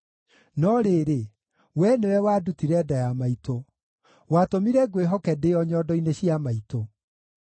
No rĩrĩ, Wee nĩwe wandutire nda ya maitũ; watũmire ngwĩhoke ndĩ o nyondo-inĩ cia maitũ.